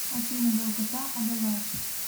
афина долгота адалар